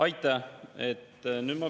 Aitäh, lugupeetud Riigikogu esimees!